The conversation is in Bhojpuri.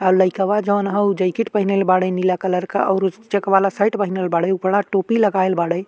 आ लईकवा जौन ह उ जैकिट पहिनल बाड़े नीला कलर का औरु चेक वाला शर्ट पहिनल बाड़े उपडा टोपी लगाइल बाड़ै।